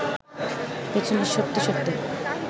পেছনে সরতে সরতে